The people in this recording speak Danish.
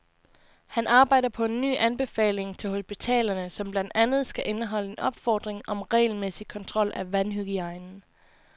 Han arbejder på en ny anbefaling til hospitalerne, som blandt andet skal indeholde en opfordring om regelmæssig kontrol af vandhygiejnen.